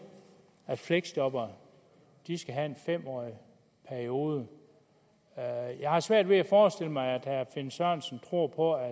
at fleksjobbere skal have en fem årig periode jeg har svært ved at forestille mig at herre finn sørensen tror på at